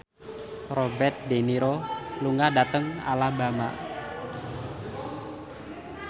Robert de Niro lunga dhateng Alabama